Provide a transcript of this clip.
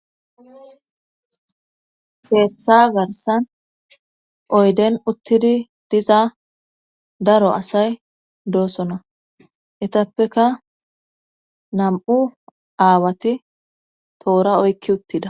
Keeththa garsan oyden uttidi diza daro asay doosona etappeka nam7u aawati toora oykki uttida